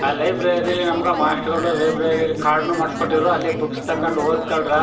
ಆ ಲೈಬ್ರರಿಲಿ ನಮ್ಗ ಮಾಸ್ಟ್ರ ಗಳು ಲೈಬ್ರರಿಲಿ ಕಾರ್ಡ್ ನು ಮಾಡ್ಸಕೊಟ್ಟಿದ್ರು ಅಲ್ಲೆ ಬುಕ್ಸ್ ತಕೊಂಡು ಓದ್ ಕೊಳ್ ರಾ.